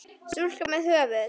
Stúlka með höfuð.